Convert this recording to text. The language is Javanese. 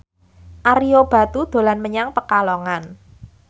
Ario Batu dolan menyang Pekalongan